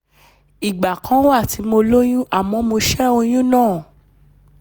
ìgbà kan wà tí mo lóyún àmọ́ mo ṣẹ́ oyún náà